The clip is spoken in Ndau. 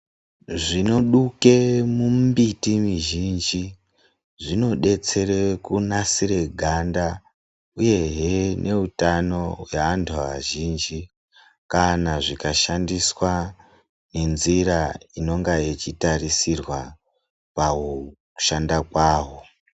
Zvinoduke mumbiti mizhinji, zvinodetsere kunasire ganda, uyehe neutano hweantu azhinji, kana zvikashandiswa nenzira inonga ichitarisirwa pakushanda kwaho.